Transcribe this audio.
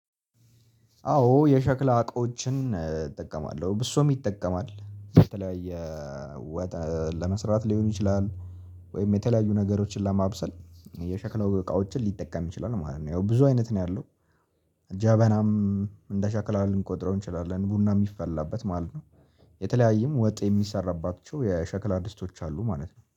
አዎ የሸክላ እቃዎችን እጠቀማለሁ ብዙ ሰዉም ይጠቀማል በተለያየ ወጥ ለመስራት ሊሆን ይችላል ወይም የተለያዩ ነገሮችን ለማብሰል የሸክላ የሆኑ እቃዎችን ሊጠቀም ይችላል ማለት ነው። ያው ብዙ አይነት ነው ያለው። ጀበናም እንደ ሸክላ ልንቆጥረው እንችላለን ቡና የሚፈላበት ማለት ነው። የተለያየም ወጥ የሚሰራባቸው የሸክላ ድስቶች አሉ ማለት ነው